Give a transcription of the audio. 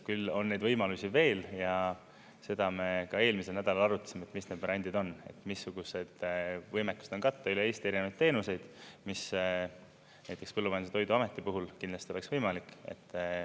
Küll on neid võimalusi veel ja seda me ka eelmisel nädalal arutasime, et mis need brändid on, et missugused võimekused on katta üle Eesti erinevaid teenuseid, mis näiteks Põllumajandus- ja Toiduameti puhul kindlasti oleks võimalik.